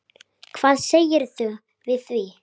Hvað segirðu við því?